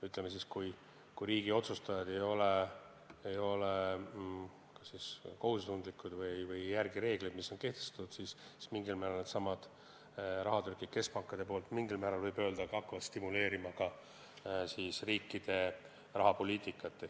Ütleme siis, et kui riigi otsustajad ei ole kohusetundlikud või ei järgi kehtestatud reegleid, siis mingil määral needsamad rahatrükid hakkavad stimuleerima ka riikide rahapoliitikat.